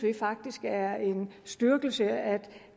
faktisk det er en styrkelse at